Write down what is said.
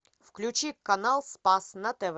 включи канал спас на тв